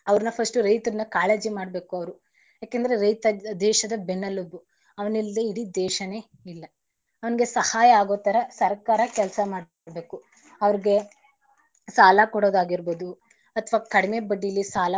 First ರೈತರನ ಕಾಳಜಿ ಮಾಡ್ಬೇಕು ಅವ್ರು. ಯಾಕಂದ್ರೆ ರೈತ ದೇಶದ ಬೆನ್ನೆಲುಬು ಅವನಿಲ್ಲದೆ ಇಡೀ ದೇಶನೆ ಇಲ್ಲ ಅವನಿಗೆ ಸಹಾಯ ಆಗೋತರ ಸರ್ಕಾರ ಕೆಲಸ ಮಾಡ್ತಿರ್ಬೇಕು ಅವರಿಗೆ ಸಾಲ ಕೊಡೋದಾಗಿರ್ಬೋದು ಅಥವಾ ಕಡಿಮೆ ಬಡ್ಡಿಲಿ.